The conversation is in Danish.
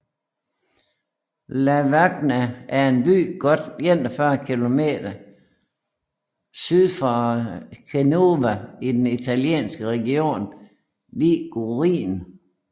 Lavagna er en by godt 41 km kilometer syd for Genova i den italienske region Ligurien